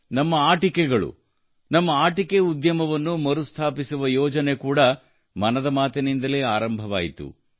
ನಮ್ಮ ಆಟಿಕೆಗಳು ನಮ್ಮ ಆಟಿಕೆ ಉದ್ಯಮವನ್ನು ಮರುಸ್ಥಾಪಿಸುವ ಯೋಜನೆ ಕೂಡಾ ಮನದ ಮಾತಿನಿಂದಲೇ ಆರಂಭವಾಯಿತು